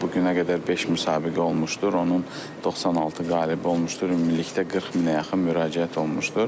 Bu günə qədər 5 min müsabiqə olmuşdur, onun 96 qalib olmuşdur, ümumilikdə 40 minə yaxın müraciət olunmuşdur.